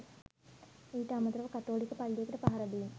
ඊට අමතරව කතෝලික පල්ලියකට පහර දීම